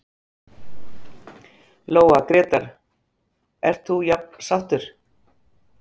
Lóa: Grétar, ert þú jafn sáttur?